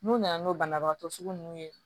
N'u nana n'o banabagatɔ sugu ninnu ye